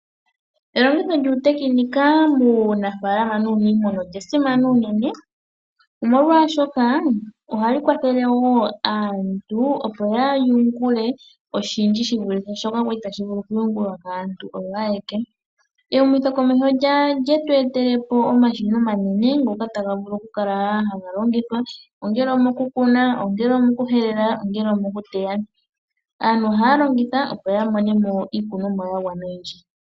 Elongitho lyuutekenika muunafaalama nuuniimuna olya simana unene omolwaashoka ohaya kwathele wo aantu opo ya yungule oshindji shi vulithe shoka kwa li tashi vulu oku yungulwa kaantu oyo ayeke. Ehumokomeho olyetu etele po omashina omanene ngoka taga vulu oku kala haga longithwa ongele omokukuna, ongele omokuhelela, ongele omoku teya. Aantu ohaya longitha opo ya vule oku mona mo iikunumwa yagwana oyindji.